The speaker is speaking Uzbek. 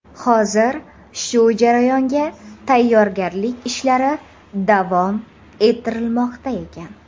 Hozir shu jarayonga tayyorgarlik ishlari davom ettirilmoqda ekan.